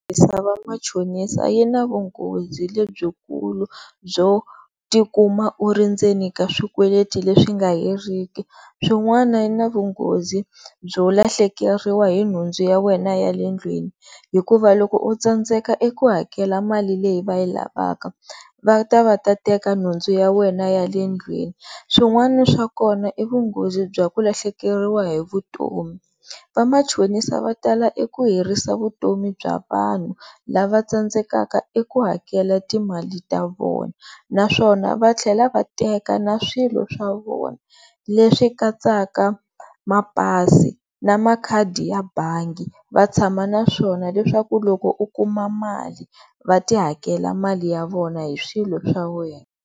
Yo tirhisa va machonisa yi na vunghozi lebyikulu byo tikuma u ri ndzeni ka swikweleti leswi nga heriki, swin'wana yi na vunghozi byo lahlekeriwa hi nhundzu ya wena ya le ndlwini hikuva loko u tsandzeka eku hakela mali leyi va yi lavaka va ta va ta teka nhundzu ya wena ya le ndlwini, swin'wana swa kona i vunghozi bya ku lahlekeriwa hi vutomi, va machonisa va tala eku herisa vutomi bya vanhu lava tsandzekaka eku hakela timali ta vona naswona va tlhela va teka na swilo swa vona leswi katsaka mapasi na makhadi ya bangi va tshama naswona leswaku loko u kuma mali va ti hakela mali ya vona hi swilo swa wena.